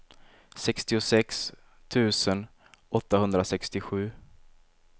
sextiosex tusen åttahundrasextiosju